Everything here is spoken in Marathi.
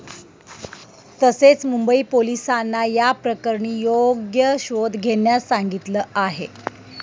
तसेच मुंबई पोलिसांना या प्रकरणी योग्य शोध घेण्यास सांगितलं आहे.